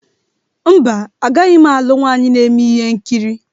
Mba, agaghị m alụ nwaanyị na-eme ihe nkiri.